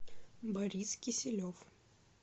борис киселев